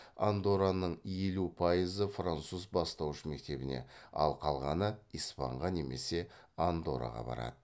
андоранның елу пайызы француз бастауыш мектебіне ал қалғаны испанға немесе андорраға барады